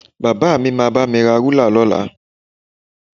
Bàbá mi máa bá mi ra rúlà lọ́la